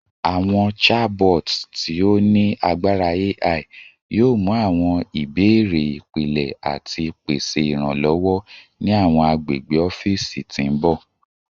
Awọn chabots ti o ni agbara AI yoo mu awọn ibeere ipilẹ ati pese iranlọwọ ni awọn agbegbe ọfiisi ti n bọ